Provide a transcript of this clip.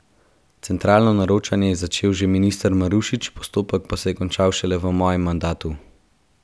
Centralno naročanje je začel že minister Marušič, postopek pa se je končal šele v mojem mandatu.